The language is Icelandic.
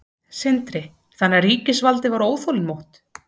Sindri: Þannig að ríkisvaldið var óþolinmótt?